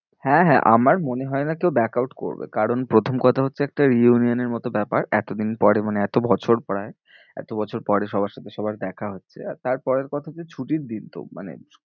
হ্যাঁ, হ্যাঁ আমার মনে হয়না কেউ back out করবে, কারণ কি প্রথম কথা হচ্ছে একটা reunion এর মতো ব্যাপার, এতদিন পরে মানে এত বছর পরে এত বছর পরে সবার সাথে সবার দেখা হচ্ছে আর তার পরের কথা হচ্ছে ছুটির দিন তো, মানে